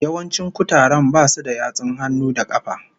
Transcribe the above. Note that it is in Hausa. Yawancin kutaren basu da yatsun hannu da kafa